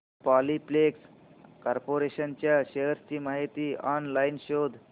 Polyplex corporation च्या shares ची माहिती ऑनलाइन शोध